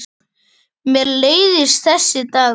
Mér leiðist þessi dagur.